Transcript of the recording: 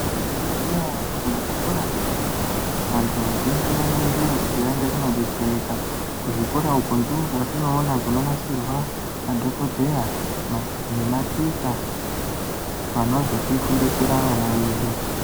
Munozviziya ere kuti muzvikora zvepadera vanthu vazhinji vanoendayo kuti vaende kunodetsereka kuzvikora uku ndiko kwatinoona kunonasirwa madhokodheya nematicha vanozotifundisira vana vedu.